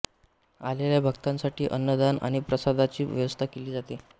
आलेल्या भक्तांसाठी अन्नदान आणि प्रसादाची व्यवस्था केली जाते